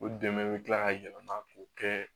O dɛmɛ bɛ kila ka yɛlɛma k'o kɛ